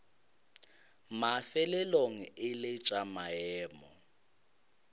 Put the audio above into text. mafelelong e lego tša maemo